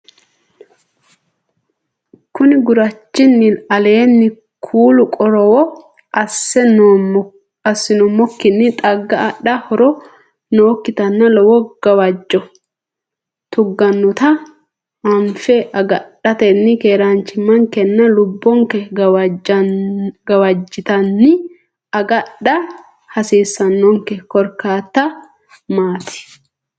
Konni gurchinni aleenni kulli qorowo assi nummokkinni xagga adha horo nookkitanna lowo gawajjora tuggannota anfe agadhatenni keeraanchimmankenna lubbonke gawajjotenni agadha hasiissannonke, korkaatta maati?